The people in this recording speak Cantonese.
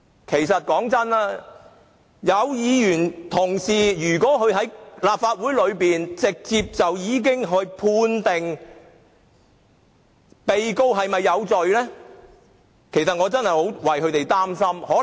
坦白說，若有議員同事在立法會會議上直接判定被告有罪，我實在替他們憂心。